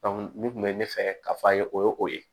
nin kun bɛ ne fɛ ka fɔ a ye o ye o ye